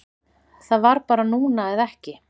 Það var bara núna eða ekki